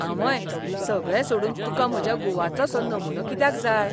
आंवय, सगळें सोडून तुका म्हज्या गुवाचोसो नमुनो कित्याक जाय?